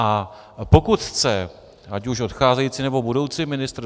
A pokud chce ať už odcházející, nebo budoucí ministr...